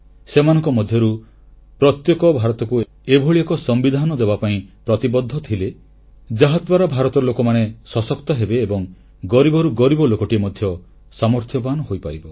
ସେମାନଙ୍କ ମଧ୍ୟରୁ ପ୍ରତ୍ୟେକ ଭାରତକୁ ଏଭଳି ଏକ ସମ୍ବିଧାନ ଦେବାପାଇଁ ପ୍ରତିବଦ୍ଧ ଥିଲେ ଯାହାଦ୍ୱାରା ଭାରତର ଲୋକମାନେ ସଶକ୍ତ ହେବେ ଏବଂ ଗରିବରୁ ଗରିବ ଲୋକଟିଏ ମଧ୍ୟ ସାମର୍ଥ୍ୟବାନ ହୋଇପାରିବେ